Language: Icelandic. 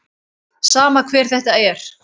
Sama hver þetta er.